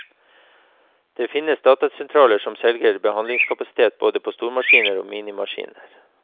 Det finnes datasentraler som selger behandlingskapasitet både på stormaskiner og minimaskiner.